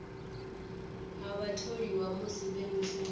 ha vhatholiwa musi vhe mushumoni